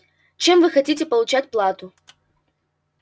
чем вы хотите получать плату